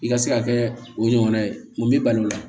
I ka se ka kɛ o ɲɔgɔnna ye mun b'i balo o la